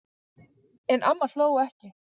En amma hló ekki.